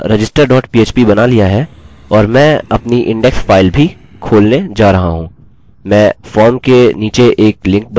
मैंने मेरा register dot php बना लिया है और मैं अपनी इंडेक्स फाइल भी खोलने जा रहा हूँ मैं फॉर्म के नीचे एक लिंक बनाऊँगा